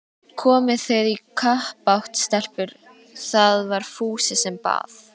Komið þið í kappát stelpur? það var Fúsi sem bað.